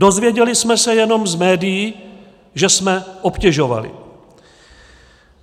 Dozvěděli jsme se jenom z médií, že jsme obtěžovali.